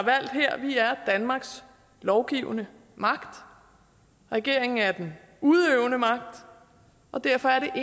danmarks lovgivende magt regeringen er den udøvende magt og derfor er